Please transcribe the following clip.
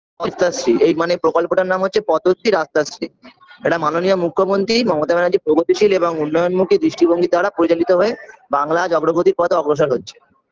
পঞ্চাশ feet এই মানে প্রকল্পটার নাম হচ্ছে পদ্ধতি রাস্তাশ্রি এটা মাননীয় মুখ্যমন্ত্রী মমতা ব্যানার্জি প্রগতিশীল এবং উন্নয়নমূখী দৃষ্টিভঙ্গি দ্বারা প্রচলিত হয়ে বাংলা আজ অগ্রগতির পথ অগ্রসর হচ্ছে